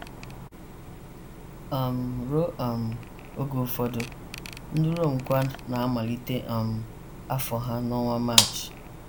um Ruo um oge ụfọdụ, ndị Rom kwa na - amalite um afọ ha n’ọnwa March.